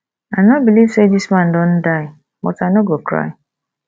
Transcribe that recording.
i no believe say dis man don die but i no go cry